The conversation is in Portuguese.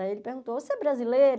Aí ele perguntou, você é brasileira?